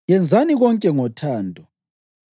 Yenzani konke ngothando.